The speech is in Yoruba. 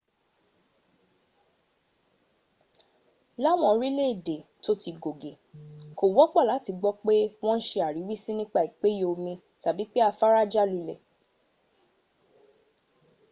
láwọn orílẹ̀èdè tó ti gògè kò wọ́pọ̀ láti gbọ́ pé wọ́n ń se àríwísí nípa ìpéye omi tàbí pé afára já lulẹ̀